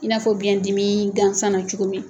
I n'a fɔ biyɛn dimii gansan na cogo min